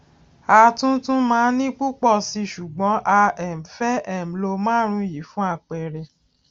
a tún tún màa ní pùpò síi ṣùgbón a um fé um lo márùnún yìí fún àpẹẹrẹ